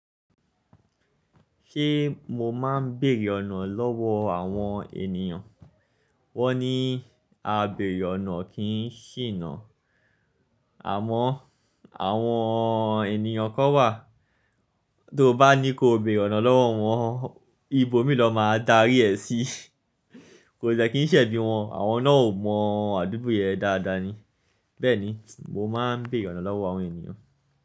Ṣé mo máa ń bèèrè ọ̀nà lọ́wọ́ àwọn ènìyàn? Won ni abeere ona kii sina àmọ́ àwọn ènìyàn kan wà tó bá ní ko bèèrè ọ̀nà lọ́wọ́ wọn, ibo míi ni won máa darí ẹ sí? Kò de kii ṣẹ̀bí wọn, àwọn náà ò mọ àdúgbò yẹn dáadáa ni. Bẹ́ẹ̀ni, mo máa ń bèèrè ọ̀nà lọ́wọ́ àwọn ènìyàn.